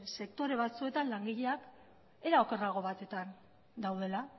sektore batzuetan langileak era okerrago batetan daudela